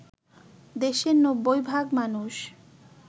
দেশের ৯০ ভাগ মানুষ